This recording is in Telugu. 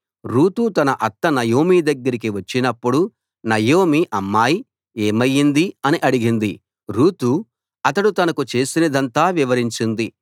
రూతు తన అత్త నయోమి దగ్గరికి వచ్చినప్పుడు నయోమి అమ్మాయ్ ఏమైంది అని అడిగింది రూతు అతడు తనకు చేసినదంతా వివరించింది